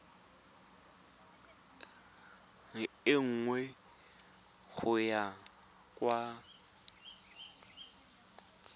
e nngwe go ya kwa